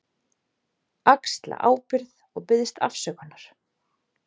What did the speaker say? Axla ábyrgð og biðst afsökunar.